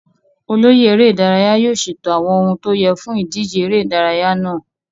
Olóyè eré ìdárayá yóò ṣètò àwọn ohun tó yẹ fún ìdíje ère ìdárayá náà.